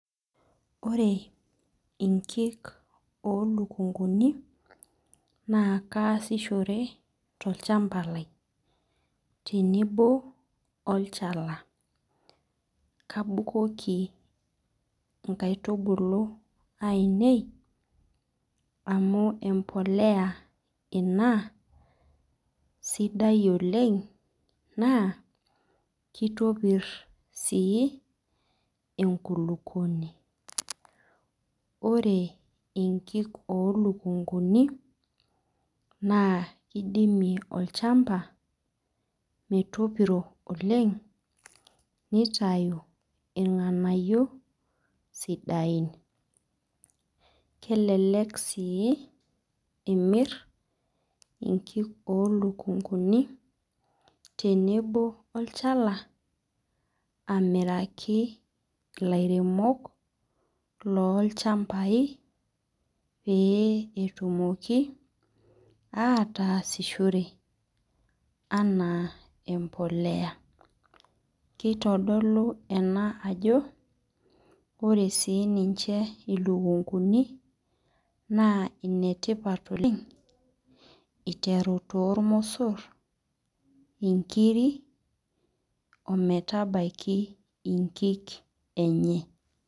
Ore inkik o ilukung'uni naa kaasishore tolchamba lai, tenebo olchala, kabukuki inkaitubulu ainei, amu empolea ina sidai oleng', naa keitopir sii enkulukuoni. Ore inki o ilukung'uni naa keidimie olchamba metopiro oleng' neitayu ilg'anayo sidain. Kelelek sii imir inki oo ilukung'uni tenebo olchala, amiraki ilairemok loolchambai pee etumoki ataasishore anaa empolea. Keitodolu ena ajo ore sii ninche ilukung'uni naa inetipat oleg' eiteru toolmosor, inkiri o metabaiki inkik enye.